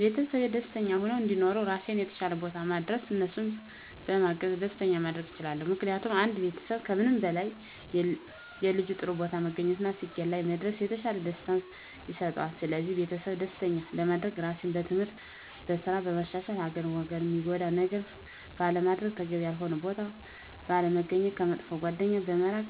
ቤተሰቤ ደስተኛ ሁነው እንዲኖሩ ራሴን የተሻለ ቦታ ማድረስ እነሱንም በማገዝ ደስተኛ ማድረግ እችላለሁ። ምክንያቱም ለአንድ ቤተሰብ ከምንም በላይ የልጁ ጥሩ ቦታ መገኘት እና ስኬት ላይ መድረስ የተሻለ ደስታን ይሰጠዋል ስለዚህ ቤተሰቤን ደስተኛ ለማድረግ ራሴን በትምህርት፣ በስራ በማሻሻል ሀገርን ወገንን ሚጎዳ ነገር ባለማድረግ፣ ተገቢ ያልሆነ ቦታ ባለመገኘት፣ ከመጥፎ ጓደኛ በመራቅ